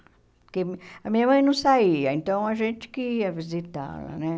Porque a minha mãe não saía, então a gente que ia visitá-la, né?